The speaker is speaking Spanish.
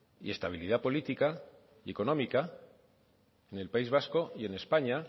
y estabilidad política y económica en el país vasco y en españa